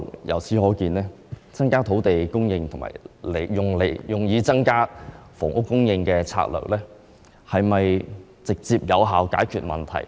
由此可見，透過增加土地供應來增加房屋供應的策略，能否直接有效解決問題呢？